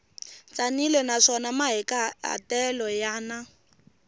tsanile naswona mahikahatelo ya na